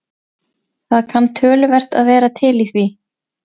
Það kann töluvert að vera til í því.